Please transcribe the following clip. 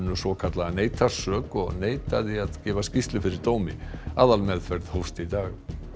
svokallaða neitar sök og neitaði að gefa skýrslu fyrir dómi aðalmeðferð hófst í dag